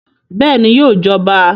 Bẹ́ẹ̀ni, yóò jọba